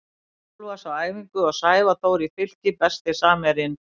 Haukur Úlfars á æfingum og Sævar Þór í Fylki Besti samherjinn?